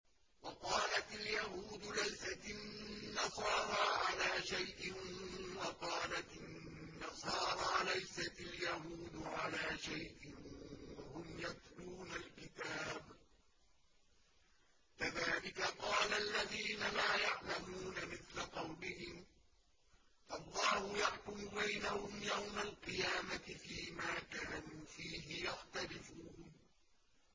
وَقَالَتِ الْيَهُودُ لَيْسَتِ النَّصَارَىٰ عَلَىٰ شَيْءٍ وَقَالَتِ النَّصَارَىٰ لَيْسَتِ الْيَهُودُ عَلَىٰ شَيْءٍ وَهُمْ يَتْلُونَ الْكِتَابَ ۗ كَذَٰلِكَ قَالَ الَّذِينَ لَا يَعْلَمُونَ مِثْلَ قَوْلِهِمْ ۚ فَاللَّهُ يَحْكُمُ بَيْنَهُمْ يَوْمَ الْقِيَامَةِ فِيمَا كَانُوا فِيهِ يَخْتَلِفُونَ